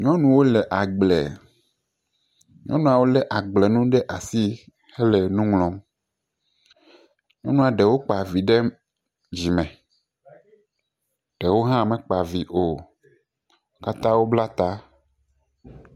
Nyɔnu ɖewo le agble. Nyɔnuawo le agble nuwo ɖe asi hele nu ŋlɔm. Nyɔnua ɖewo kpa vi ɖe dzi eye ɖewo hã me kpa vi o. Wo kata wo bla ta